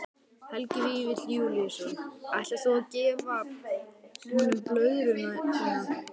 Helgi Vífill Júlíusson: Ætlar þú að gefa honum blöðruna þína?